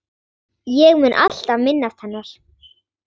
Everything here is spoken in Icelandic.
Ég mun alltaf minnast hennar.